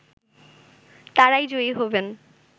তারাই জয়ী হবেন